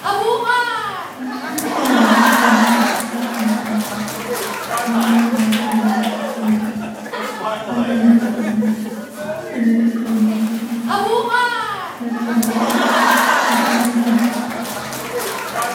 ንዝተፈላለዩ ክፋላት ኣካላትና ንመፀባበቒ እና መመላኽዕናን እንጥቀመሉ መፀባበቒ እንታይ ይብሃል?